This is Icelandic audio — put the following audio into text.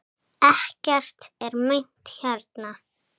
Ekkert er meint hérna.